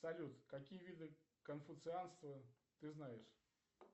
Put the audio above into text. салют какие виды конфуцианства ты знаешь